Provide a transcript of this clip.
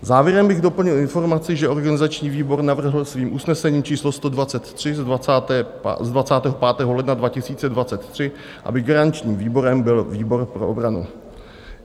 Závěrem bych doplnil informaci, že organizační výbor navrhl svým usnesením číslo 123 z 25. ledna 2023, aby garančním výborem byl výbor pro obranu.